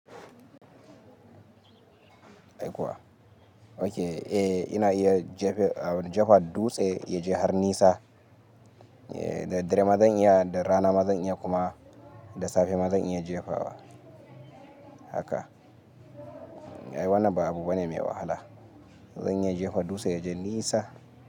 Ai kuwa? Okay, eh ina iya jefewa, jefa dutse ya je har nisa. Eh, da dare ma zan iya, da rana ma zan iya kuma da safe ma zan iya jefawa haka. Ai, wannan ba abu bane mai wahala. Zan iya jefa dutse ya je nisa.